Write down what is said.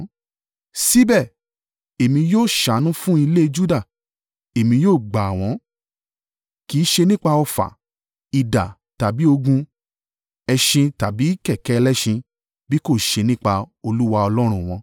Síbẹ̀, èmi yóò ṣàánú fún ilé Juda, èmi ó gbà wọ́n—kì í ṣe nípa ọfà, idà tàbí ogun, ẹṣin tàbí kẹ̀kẹ́ ẹlẹ́ṣin bí kò ṣe nípa Olúwa Ọlọ́run wọn.”